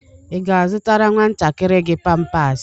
Ị ga-azụtara nwantakịrị gị pampas?